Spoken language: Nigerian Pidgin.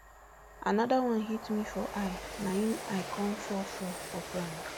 anoda one hit me for eye na im i kon fall fall for ground